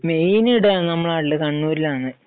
Main ഇവിടെ നമ്മുടെ നാട്ടിൽ കണ്ണൂരിലാണ്.